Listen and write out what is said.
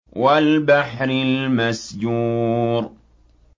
وَالْبَحْرِ الْمَسْجُورِ